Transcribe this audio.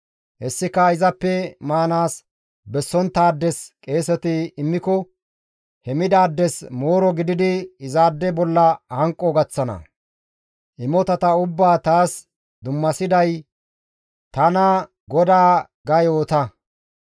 Hessika izappe maanaas bessonttaades qeeseti immiko he midaades mooro gididi izaade bolla hanqo gaththana; imotata ubbaa taas dummasiday tana GODAA› ga yoota.»